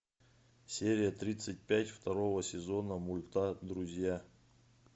серия тридцать пять второго сезона мульта друзья